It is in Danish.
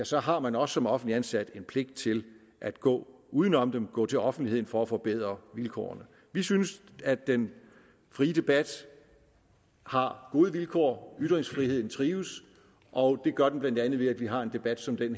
så har man også som offentligt ansat en pligt til at gå uden om dem og gå til offentlighed for at forbedre vilkårene vi synes at den frie debat har gode vilkår at ytringsfriheden trives og det gør den bla ved at vi har en debat som den